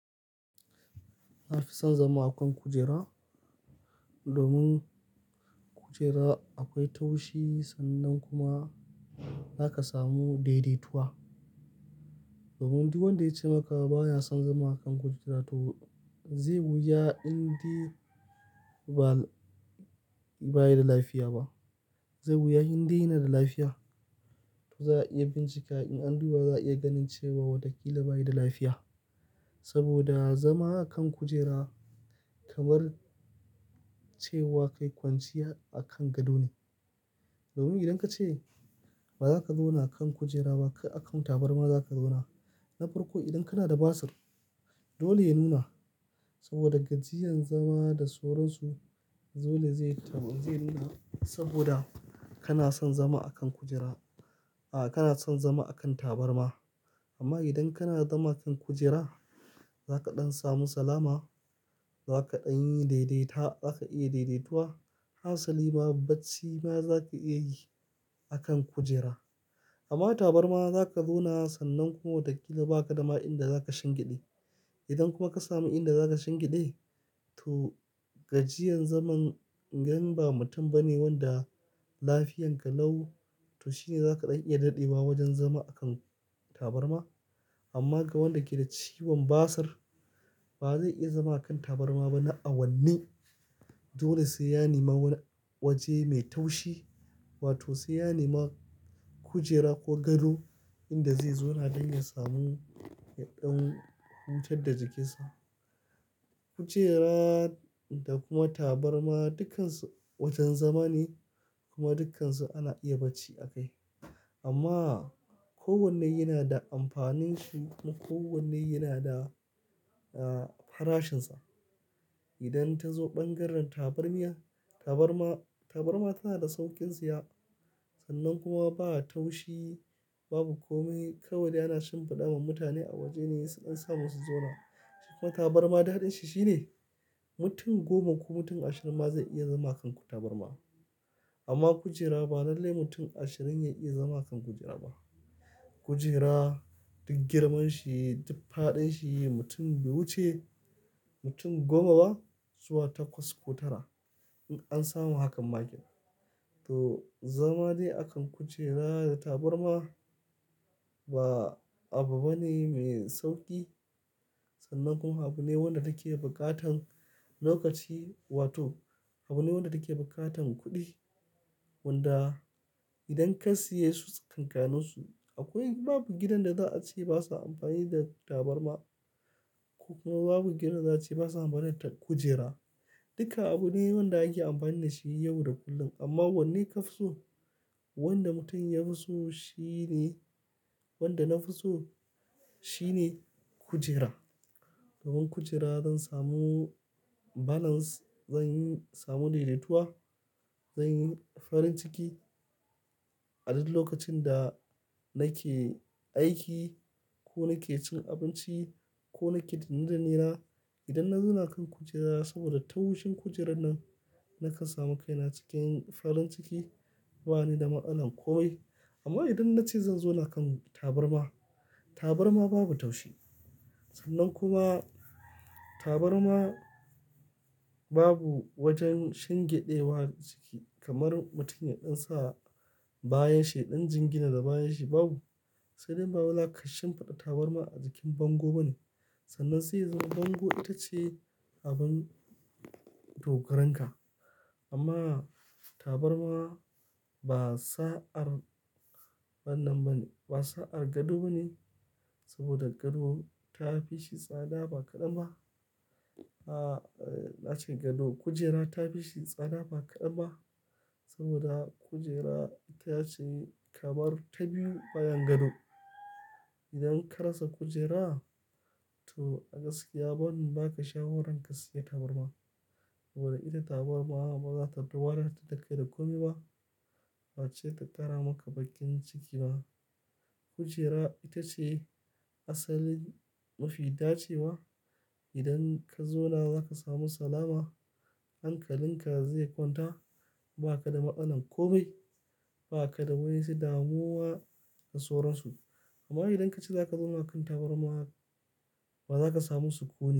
Na fi son zama a kan kujera. Domin kujera akwai taushi sannan kuma za ka samu daidaituwa. Domin duk wanda ya ce maka ba ya son zama a kan kujera to zai wuya indai ba, ba yi da lafiya ba. Zai wuya indai yana da lafiya. To za a iya bincika in an duba za a iya ganin cewa wataƙila ba yi da lafiya. Saboda zama a kan kujera kamar cewa kai kwanciya a kan gado ne. Domin idan ka ce ba za ka zauna a kan kujera ba akan tabarma za ka zauna. Na farko idan kana da basir dole ya nuna saboda gajiyan zama da soron su dole zai taɓa zai nuna saboda kana son zama a kan kujera. A kana son zama a kan tabarma. Amma idan kana zama a kan kujera za ka ɗan samu salama, za ka ɗan yi daidaita, za ka iya daidaituwa. Hassali ma bacci ma za ka iya yi a kan kujera. Amma tabarma za ka zauna sannan kuma watakila ba ka da ma inda za ka shingeɗe. Idan kuma ka samu inda za ka shingiɗe to gajiyan zaman yan ba mutum ba ne wanda lafiyarka lau to shine za ka ɗan iya daɗewa wajen zama a kan tabarma. Amma ga wanda yake da ciwon basir ba zai iya zama a kan tabarma ba na awanni. Dole sai ya nema waje mai taushi wato sai ya nema kujera ko gado inda zai zauna don ya samu ya ɗan hutad da jikinsa. Kujera da kuma tabarma dukkansu wajan zama ne kuma dukkansu ana iya bacci a kai. Amma kowanne yana da amfanin shi kuma kowanne yana da, ah, farashinsa. Idan ta zo bangaren tabarmiya, tabarma, tabarma tana da saukin saya sannan kuma ba ta taushi. Babu kome kawai dai ana shimfiɗa ma mutane a waje ne su ɗan samu su zauna. Shi kuma tabarma daɗin shi shine mutum goma ko mutum ashirin ma zai iya zama kan tabarma. Amma kujera ba lallai mutum ashirin ya iya zama kan kujera ba. Kujera duk girman shi, duk faɗin shi mutum be wuce mutum goma ba zuwa takwas ko tara in an samu hakan ma ake. To zama de a kan kujera da tabarma ba abu bane mai sauƙi. Sannan kuma abu ne wanda take buƙatan lokaci wato abu ne wanda take buƙatan kuɗi. Wanda idan ka siye su tsakankaninsu akwai babu gidan da za a ce basa amfani da tabarma. Kuma babu gidan za a ce basa amfani da kujera. Duka abu ne wanda ake amfani da shi yau da kullum. Amma wanne ka fi so? Wanda mutum ya fi so shine, wanda na fi so shine kujera. Domin kujera zan samu balance, zan samu daidaituwa, zan yi farin ciki. A dul lokacin da nake aiki ko nake cin abinci ko nake danne danne na idan na zauna kan kujera saboda taushin kujerar nan nakan samu kaina cikin farin ciki. Ba ni da ma'anar ko bai. Amma idan na ce zan zauna kan tabarma, tabarma babu taushi. Sannan kuma tabarma babu wajen shingiɗe wa jiki kamar mutum ya ɗan sa bayan shi ɗan jingina da bayan shi babu. Sai dai bawai zaka shinfiɗa tabarma a jikin bango bane. Sannan sai ya zam bango ita ce abin dogaranka. Amma tabarma ba sa'ar wannan bane, ba sa'ar gado bane. Saboda gado ta fi shi tsada ba kaɗan ba. A, na ce gado, kujera ta fi shi tsada ba kaɗan ba. Saboda kujera ita ce kamar ta biyu bayan gado. Idan ka rasa kujera to gaskiya bannu ba ka shawaran ka siya tabarma. Saboda ita tabarma ba za ta duwaraɗar da kai da komi ba. Face ta tara maka baƙin ciki ba. Kujera ita ce asalin nufi. Da cewa idan ka zauna za ka samu salama, hankalin ka zai kwanta. Ba ka da matsalar komai. Ba ka da wa'in su damuwa da soran su. Amma idan ka ce za ka zauna kan tabarma ba za ka samu sukuni.